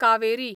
Kaveri